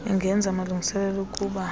ingenza amalungiselelo okuba